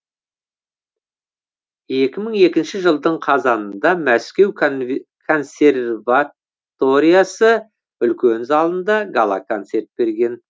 екі мың екінші жылдың қазанында мәскеу консерваториясы үлкен залында гала концерт берген